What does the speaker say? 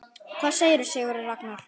Hvað segir Sigurður Ragnar?